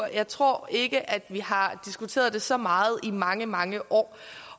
jeg tror ikke at vi har diskuteret det så meget i mange mange år